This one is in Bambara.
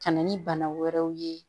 Ka na ni bana wɛrɛw ye